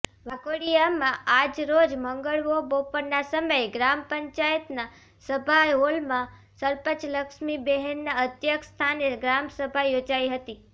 વાઘોડિયામાં આજરોજ મંગળવો બપોરના સમયે ગ્રામ પંચાયતના સભાહોલમાં સરપંચ લક્ષ્મીબેનના અધ્યક્ષ સ્થાને ગ્રામસભા યોજાઇ હતી